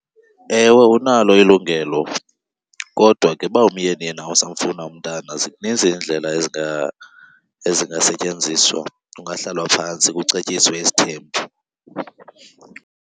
Ewe, unalo ilungelo kodwa ke uba umyeni yena usamfuna umntana zinintsi iindlela ezingasetyenziswa, kungahlalwa phantsi kucetyiswe isithembu.